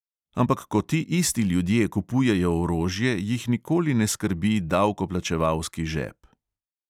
Ampak ko ti isti ljudje kupujejo orožje, jih nikoli ne skrbi davkoplačevalski žep.